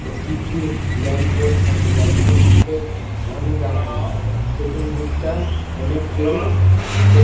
ও কিছু ল্যাম্পপোস্ট আছে lamp post -এ অনেক আছে আরে পিছন দিকটা অনেক কেউ উম তে --